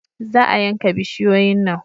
Za a yanka bishiyoyin nan